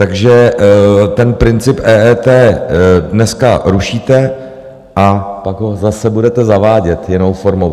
Takže ten princip EET dneska rušíte, a pak ho zase budete zavádět jinou formou.